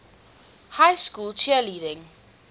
high school cheerleading